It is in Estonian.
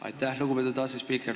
Aitäh, lugupeetud asespiiker!